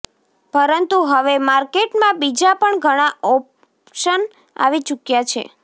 પરંતુ હવે માર્કેટમાં બીજા પણ ઘણા ઓપશન આવી ચુક્યા છે